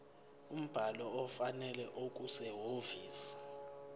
umbhalo ofanele okusehhovisi